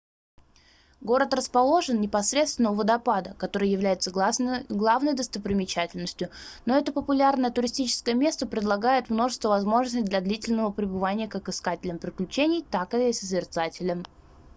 город расположен непосредственно у водопада который является главной достопримечательностью но это популярное туристическое место предлагает множество возможностей для длительного пребывания как искателям приключений так и созерцателям